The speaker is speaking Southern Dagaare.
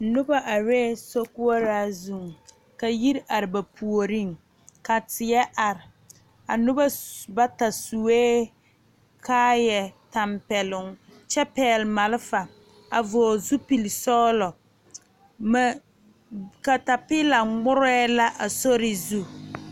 Noba arɛɛ sokoɔraa zuŋ ka yiri are ba puoriŋ ka teɛ are a noba sue bata sue kaayatɛmpɛloŋ kyɛ pɛgle malfa a vɔgle zupilisɔglɔ boma katapeela ŋmorɛɛ la a sori zu.